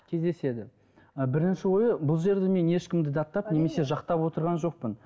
кездеседі і бірінші ойы бұл жерде мен ешкімді даттап немесе жақтап отырған жоқпын